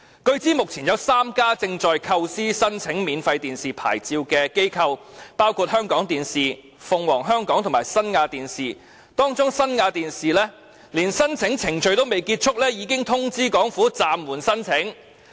據知目前有3家機構正在構思申請免費電視牌照，包括香港電視網絡有限公司、鳳凰香港電視有限公司及新亞電視，當中新亞電視在申請程序尚未結束之際，已通知政府會暫緩提出申請。